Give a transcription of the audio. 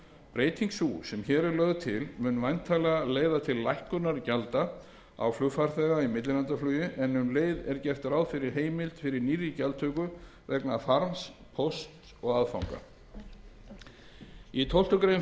breyting sú sem hér er lögð til mun væntanlega leiða til lækkunar gjalda á flugfarþega í millilandaflugi en um leið er gert ráð fyrir heimild fyrir nýrri gjaldtöku vegna farms pósts og aðfanga í tólf greinar